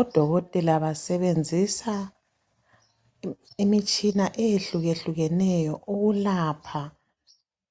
Odokotela basebenzisa imitshina eyehlukehlukeneyo ukulapha